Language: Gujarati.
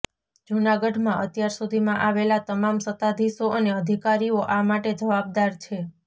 જૂનાગઢમાં અત્યાર સુધીમાં આવેલા તમામ સત્તાધિશો અને અધિકારીઓ આ માટે જવાબદાર છે